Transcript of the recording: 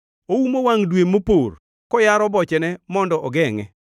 Oumo wangʼ dwe mopor, koyaro bochene mondo ogengʼe.